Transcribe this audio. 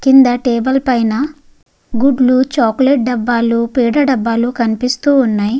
కింద టెబుల్ పైన గుడ్లు చాక్లెట్ డబ్బాలు పేడ డబ్బాలు కనిపిస్తు ఉన్నాయి.